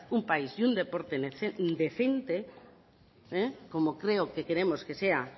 un país y un deporte decente como creo que queremos que sea